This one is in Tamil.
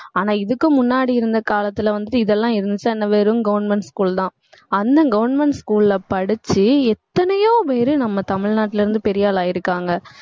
ஆனா இதுக்கு முன்னாடி இருந்த காலத்துல வந்துட்டு இதெல்லாம் இருந்துச்சா என்ன வெறும் government school தான் அந்த government school ல படிச்சு எத்தனையோ பேரு நம்ம தமிழ்நாட்டுல இருந்து பெரிய ஆள் ஆயிருக்காங்க